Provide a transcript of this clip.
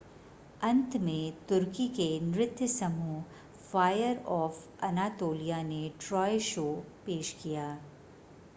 अंत में तुर्की के नृत्य समूह फ़ायर ऑफ़ अनातोलिया ने ट्रॉय शो पेश किया